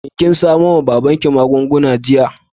shin kin samo wa babanki magungunan jiya?